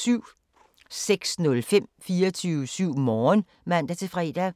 06:05: 24syv Morgen (man-fre)